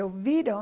E eu viro